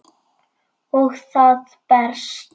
Og það berst.